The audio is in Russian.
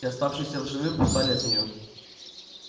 и оставшиеся в живых устали от неё